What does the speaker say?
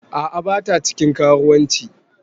A'a bata cikin karuwanci.